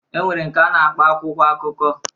E nwere nke a na-akpọ akwụkwọ akụkọ.